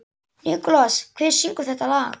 Nikolas, hver syngur þetta lag?